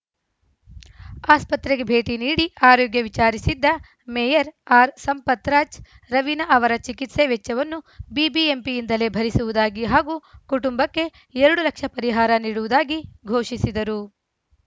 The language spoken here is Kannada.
ಆಸ್ಪತ್ರೆಗೆ ಭೇಟಿ ನೀಡಿ ಆರೋಗ್ಯ ವಿಚಾರಿಸಿದ್ದ ಮೇಯರ್‌ ಆರ್‌ಸಂಪತ್‌ರಾಜ್‌ ರವೀನಾ ಅವರ ಚಿಕಿತ್ಸಾ ವೆಚ್ಚವನ್ನು ಬಿಬಿಎಂಪಿಯಿಂದಲೇ ಭರಿಸುವುದಾಗಿ ಹಾಗೂ ಕುಟುಂಬಕ್ಕೆ ಎರಡು ಲಕ್ಷ ಪರಿಹಾರ ನೀಡುವುದಾಗಿ ಘೋಷಿಸಿದರು